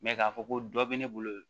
k'a fɔ ko dɔ be ne bolo